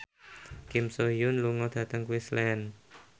Kim So Hyun lunga dhateng Queensland